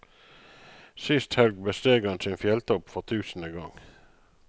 Sist helg besteg han sin fjelltopp for tusende gang.